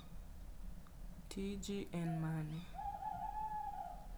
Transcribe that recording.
Tiji en mane?